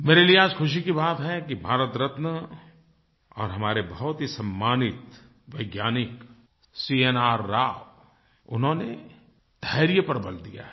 मेरे लिए आज खुशी की बात है कि भारतरत्न और हमारे बहुत ही सम्मानित वैज्ञानिक सीएनआर राव उन्होंने धैर्य पर बल दिया है